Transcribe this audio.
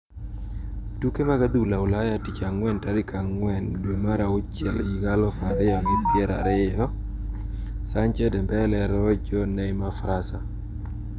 Tuke mag adhula Ulaya tich Ang`wen tarik ang`wen dwe mar auchiel higa aluf ariyo gi pier ariyo : Sancho, Dembele, Rojo, Neymar, Fraser.